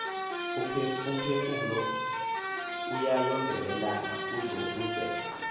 umphefumlo uyayondelelana uzobozeke